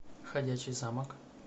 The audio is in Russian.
ходячий замок